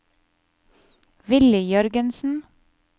Willy Jørgensen